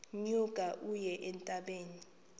nyuka uye entabeni